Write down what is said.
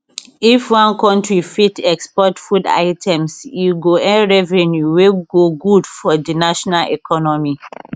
if one country fit export food items e go earn revenue wey go good for di national economy